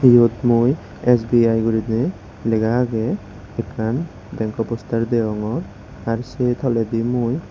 eyot mui sbi guri ney lega agey akken bank ko poster degongor ar say toladi mui.